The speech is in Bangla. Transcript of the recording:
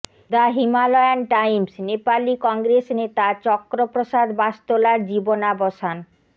দ্য হিমালয়ান টাইমসনেপালি কংগ্রেস নেতা চক্র প্রসাদ বাস্তোলার জীবনাবসান